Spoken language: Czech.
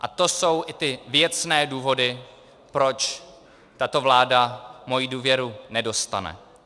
A to jsou i ty věcné důvody, proč tato vláda moji důvěru nedostane.